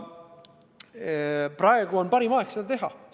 Praegu on parim aeg seda teha.